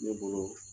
Ne bolo